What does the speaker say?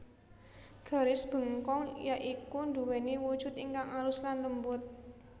Garis bengkong ya iku nduweni wujud ingkang alus lan lembut